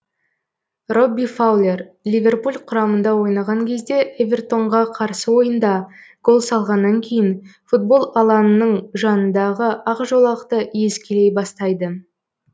робби фаулер ливерпуль құрамында ойнаған кезде эвертон ға қарсы ойында гол салғаннан кейін футбол алаңының жаныдағы ақ жолақты иіскелей бастайды